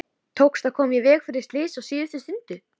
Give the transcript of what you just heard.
Og er kaldara en öðru fólki á þeim stað.